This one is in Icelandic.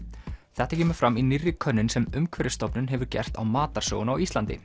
þetta kemur fram í nýrri könnun sem Umhverfisstofnun hefur gert á matarsóun á Íslandi